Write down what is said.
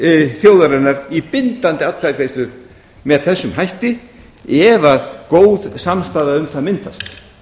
til þjóðarinnar í bindandi atkvæðagreiðslu með þessum hætti ef góð samstaða um það myndast